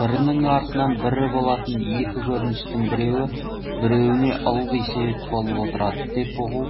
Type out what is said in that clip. бірінің артынан бірі болатын екі көріністің біреуі біреуіне ылғи себеп болып отырады деп ұғу